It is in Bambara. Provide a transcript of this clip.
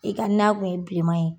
I ka na kun ye bileman ye